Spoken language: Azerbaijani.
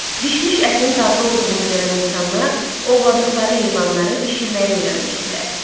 Bişmiş ətin dadlı olduğunu görən insanlar ovladıqları heyvanları bişirməyi öyrənmişdilər.